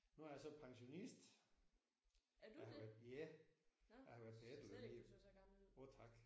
Nu er jeg så pensionist. Jeg har været ja jeg har været på efterløn i åh tak